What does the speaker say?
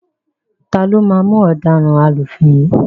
Taló máa mú ọ̀daràn alúfin yìí?